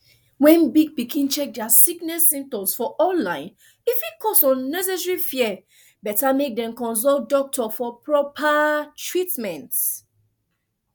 wen big pikin check dia sickness symptoms for online e fit cause unnecessary fear better mek dem consult doctor for proper treatment